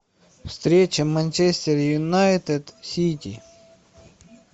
встреча манчестер юнайтед сити